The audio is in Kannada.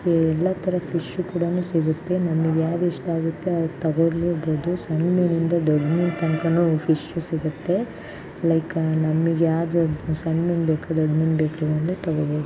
ಇಲ್ಲಿ ಎಲ್ಲ ತರದ್ ಫಿಶ್ಷು ಕೂಡನು ಸಿಗತ್ತೆ. ನಮಿಗ್ ಯಾವ್ದ್ ಇಷ್ಠಾಗುತ್ತೆ ಅದ್ ತಗೊಳಲುಬಹುದು. ಸಣ್ಣ ಮೀನಿಂದ ದೊಡ್ಡ್ ಮೀನ್ ತನಕನು ಫಿಶು ಸಿಗತ್ತೆ. ಲೈಕ್ ಅಹ್ ನಮಿಗ್ ಸಣ್ಣ ಮೀನ್ ಬೇಕೋ ದೊಡ್ಡ್ ಮೀನ್ ಬೇಕು ಅಂದ್ರು ತಗೋಬೋದು.